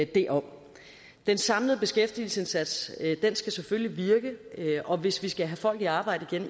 det om den samlede beskæftigelsesindsats skal selvfølgelig virke og hvis vi skal have folk i arbejde